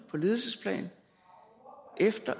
på ledelsesplan